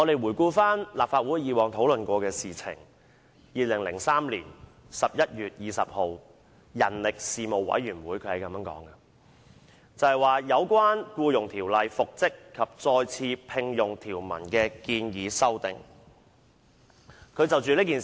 回顧立法會以往的討論 ，2003 年11月20日人力事務委員會就"有關《僱傭條例》復職及再次聘用條文的建議修訂"展開討論。